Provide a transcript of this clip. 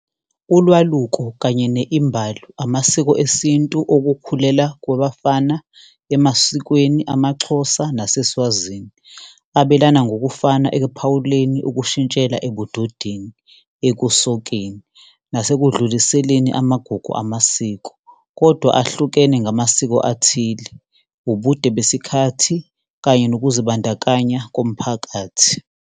Ulwaluko kanye ne-imbalo, amasiko esintu okukhulela kwabafana emasikweni amaXhosa naseSwazini. Abelana ngokufana ekuphawuleni ukushintshela ebudodeni, ekusokeni, nasekudluliseni amagugu amasiko, kodwa ahlukene ngamasiko athile, ubude besikhathi kanye nokuzibandakanya komphakathi.